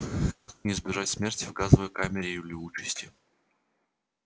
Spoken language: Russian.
избежать смерти в газовой камере или участи